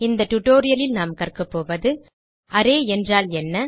இந்த டியூட்டோரியல் லில் நாம் கற்கபோவது அரே என்றால் என்ன